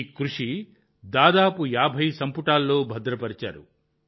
ఈ కృషిని దాదాపు 50 సంపుటాల్లో భద్రపర్చారు